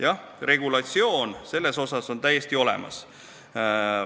Jah, regulatsioon on täiesti olemas.